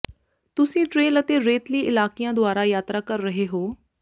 ਤੁਸੀਂ ਟ੍ਰੇਲ ਅਤੇ ਰੇਤਲੀ ਇਲਾਕਿਆਂ ਦੁਆਰਾ ਯਾਤਰਾ ਕਰ ਰਹੇ ਹੋ